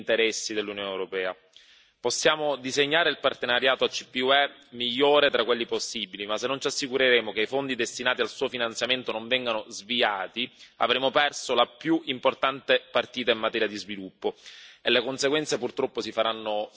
Possiamo disegnare il partenariato ACP UE migliore tra quelli possibili, ma se non ci assicureremo che i fondi destinati al suo finanziamento non vengano sviati, avremo perso la più importante partita in materia di sviluppo e le conseguenze purtroppo si faranno sentire ancora per decenni.